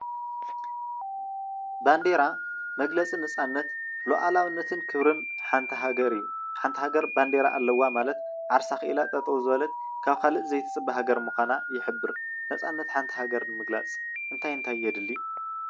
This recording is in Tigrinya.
ባንዴራ መግለፂ ነፃነት ሉኣላውነትን ክብርን ሓንቲ ሃገር እዩ ።ሓንቲ ሃገር ባንዴራ ኣለዋ ማለት ዓርሳ ኸኢላ ጠጠው ዝበለት ካብ ካልእ ዘይትፅበ ሃገር ምካና ይሕበር ነፃነት ሓንቲ ሃገር ንምግላፅ እንታይ እንታይ የድሊ?